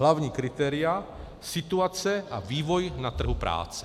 Hlavní kritéria - situace a vývoj na trhu práce.